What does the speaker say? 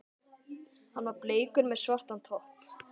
Hann var bleikur með svartan topp.